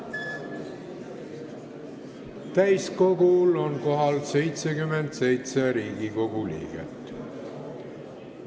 Kohaloleku kontroll Täiskogul on kohal 77 Riigikogu liiget.